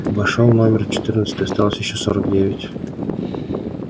вошёл номер четырнадцатый осталось ещё сорок девять